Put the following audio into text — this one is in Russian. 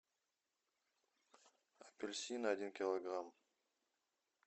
апельсины один килограмм